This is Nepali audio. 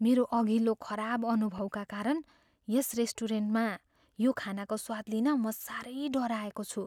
मेरो अघिल्लो खराब अनुभवका कारण यस रेस्टुरेन्टमा यो खानाको स्वाद लिन म साह्रै डराएको छु।